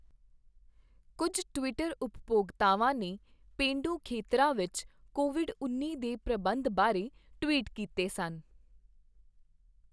ਕੁੱਝ ਟਵਿੱਟਰ ਉਪਭੋਗਤਾਵਾਂ ਨੇ ਪੇਂਡੂ ਖ਼ੇਤਰਾਂ ਵਿੱਚ ਕੋਵਿਡ ਉੱਨੀ ਦੇ ਪ੍ਰਬੰਧਨ ਬਾਰੇ ਟਵੀਟ ਕੀਤੇ ਸਨ।